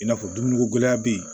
I n'a fɔ dumuniko gɛlɛya bɛ yen